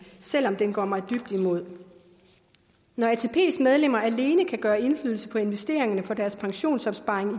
selv om den går mig dybt imod når atps medlemmer alene kan gøre indflydelse på investeringerne for deres pensionsopsparing